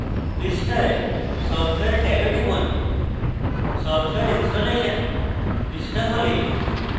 পৃষ্ঠায় software ট্যাবে টিপুন